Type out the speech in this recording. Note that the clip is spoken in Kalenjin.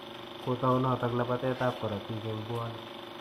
Kotau noto labatetab korotik eng' puanik.